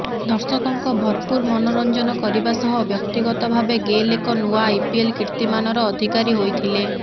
ଦର୍ଶକଙ୍କ ଭରପୁର ମନୋରଞ୍ଜନ କରିବା ସହ ବ୍ୟକ୍ତିଗତ ଭାବେ ଗେଲ୍ ଏକ ନୂଆ ଆଇପିଏଲ୍ କୀର୍ତ୍ତିମାନର ଅଧିକାରୀ ହୋଇଥିଲେ